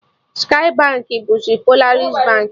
Skye Baankị bụzi Polaris Baankị